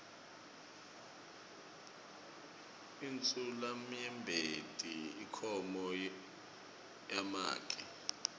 insulamnyembeti inkhomo yamake